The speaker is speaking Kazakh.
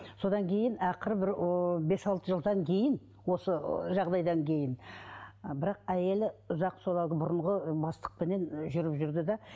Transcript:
содан кейін ақыры бір ыыы бес алты жылдан кейін осы жағдайдан кейін ы бірақ әйелі ұзақ солардың бұрынғы ы бастықпенен жүріп жүрді де